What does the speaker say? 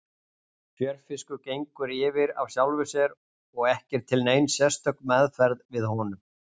Fjörfiskur gengur yfir af sjálfu sér og ekki er til nein sérstök meðferð við honum.